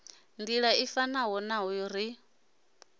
nḓila i fanaho naho ri